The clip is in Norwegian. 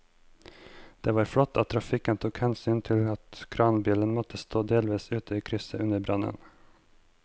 Det var flott at trafikken tok hensyn til at kranbilen måtte stå delvis ute i krysset under brannen.